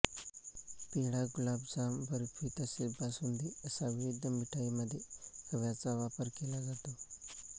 पेढा गुलाबजामबर्फी तसेच बासुंदी असा विविध मिठाई मध्ये खव्याचा वापर केला जातो